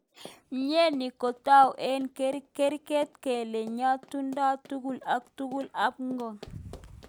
Mnyeni kotou eng keret kele ngotuyo tukun ak tukuk ab ngony.